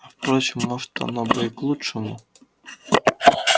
а впрочем может оно бы и к лучшему